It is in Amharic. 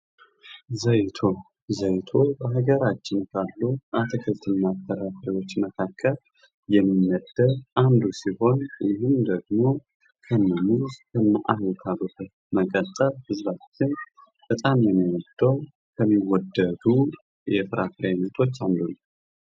ዘይቶን፡-ከሀገራችን ካሉ አትክልትና ፍራፍሬዎች የሚመደብ አንዱ ሲሆን በጣም የሚወደድ የፍራፍሬ አይነት ነው